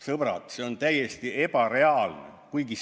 Sõbrad, see on täiesti ebareaalne!